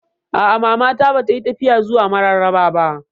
A'a, Mama na ba ta yi tafiya zuwa Mararaba ba